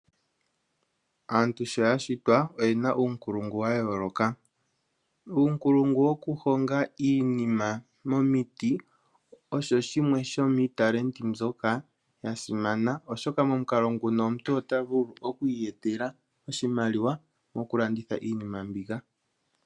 Aantu sho ya shitwa, oye na uunkulungu wa yooloka. Uunkulungu woku honga iinima momiti osho shimwe shomiitalenti mbyoka ya simana oshoka momukalo nguka omuntu ota vulu oku iyetela oshimaliwa moku landitha iinima mbika.